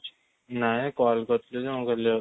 ନାଇଁ call କରିଥିଲି ମୁଁ କହିଲି